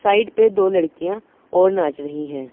Side पे दो लड़कियां और नाच रही हैं।